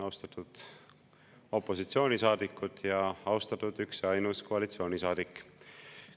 Austatud opositsioonisaadikud ning austatud üks ja ainus koalitsioonisaadik!